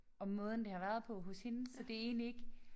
Om måden det har været på hos hende så det egentlig ikke